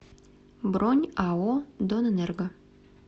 бронь ао донэнерго